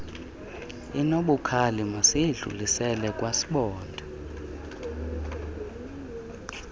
inobukhali masiyidlulisele kwasibonda